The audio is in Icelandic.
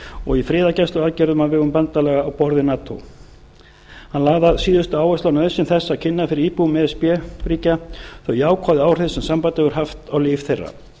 og í friðargæsluaðgerðum á vegum bandalaga á borð við nato hann lagði að síðustu áherslu á nauðsyn þess að kynna fyrir íbúum e s b ríkja þau jákvæðu áhrif sem sambandið hefur haft á líf þeirra